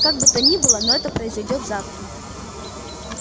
как бы то ни было но это произойдёт завтра